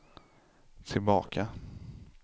tillbaka